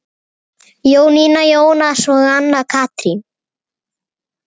Jónína, Jónas og Anna Katrín.